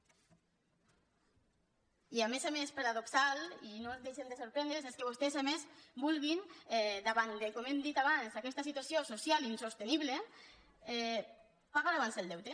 i a més a més paradoxal i no ens deixen de sorprendre és que vostès a més vulguin davant de com hem dit abans aquesta situació social insostenible pagar abans el deute